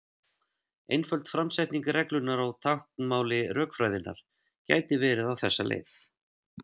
Einföld framsetning reglunnar á táknmáli rökfræðinnar gæti verið á þessa leið: